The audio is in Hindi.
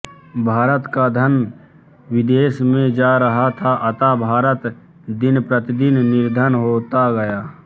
भारत का धन विदेशों में जा रहा था अतः भारत दिनप्रतिदिन निर्धन होता गया